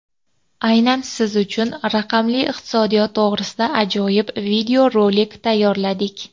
Aynan siz uchun raqamli iqtisodiyot to‘g‘risida ajoyib videorolik tayyorladik.